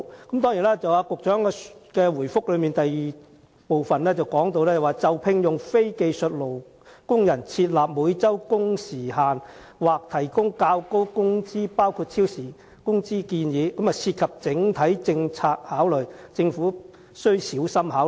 局長在主體答覆第二部分中表示，就聘用非技術工人設立每周工時限制或提供較高工資包括超時工資等建議，將涉及整體政策考慮，政府須小心考慮。